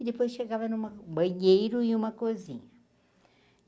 E depois chegava numa banheiro e uma cozinha.